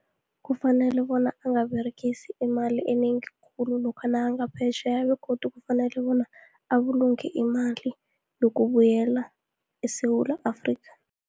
Kufanele bona angaberegisi imali enengi khulu, lokha nakangaphetjheya, begodu kufanele bona abulunge imali, yokubuyela eSewula Afrika.